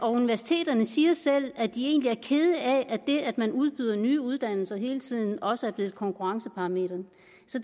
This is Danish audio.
og universiteterne siger selv at de egentlig er kede af at det at man udbyder nye uddannelser hele tiden også er blevet et konkurrenceparameter